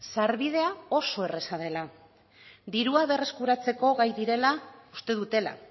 sarbidea oso erraza dela dirua berreskuratzeko gai direla uste dutela